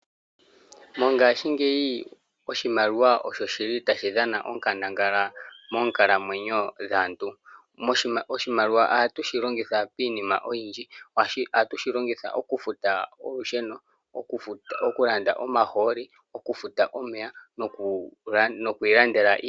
Mongashingeyi oshimaliwa osho shili tashi dhana onkandangala moonkalamwenyo dhaantu. Oshimaliwa ohatu shi longitha piinima oyindji. Ohatu shi longitha okufuta olusheno, okulanda omahooli, okufuta omeya nokwiilandela iikulya.